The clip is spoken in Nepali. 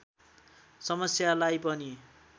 समस्यालाई पनि